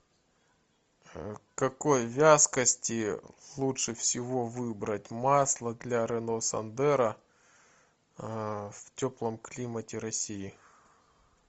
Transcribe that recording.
какой вязкости лучше всего выбрать масло для рено сандеро в теплом климате россии